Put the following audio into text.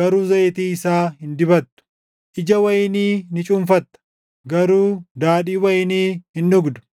garuu zayitii isaa hin dibattu; ija wayinii ni cuunfatta; garuu daadhii wayinii hin dhugdu.